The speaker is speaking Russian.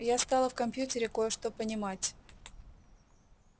я стала в компьютере кое-что понимать